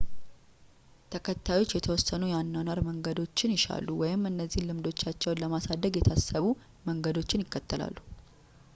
ተከታዮች የተወሰኑ የአኗኗር መንገዶችን ይሻሉ ወይም እነዚያን ልምዶቻቸውን ለማሳደግ የታሰቡ መንገዶችን ይከተላሉ